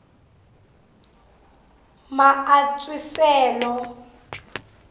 maantswisele